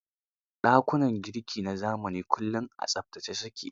Dakunan girki na zamani kullum a tsaftace su ke.